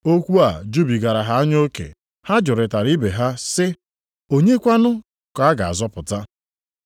Okwu a jubigara ha anya oke. Ha jụrịtara ibe ha sị, “Onye kwanụ ka a ga-azọpụta?”